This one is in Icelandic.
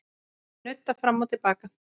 Nudda fram og til baka.